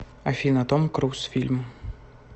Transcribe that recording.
афина том круз фильм